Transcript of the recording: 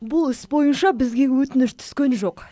бұл іс бойынша бізге өтініш түскен жоқ